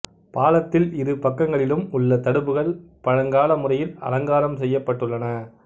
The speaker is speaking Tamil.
பாலத்தில் இரு பக்கங்களிலும் உள்ள தடுப்புக்கள் பழங்கால முறையில் அலங்காரம் செய்யப்பட்டுள்ளன